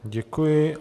Děkuji.